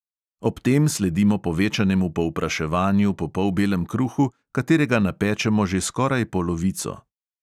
Ob tem sledimo povečanemu povpraševanju po polbelem kruhu, katerega napečemo že skoraj polovico.